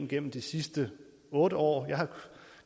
gennem de sidste otte år